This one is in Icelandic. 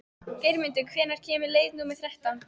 Geirmundur, hvenær kemur leið númer þrettán?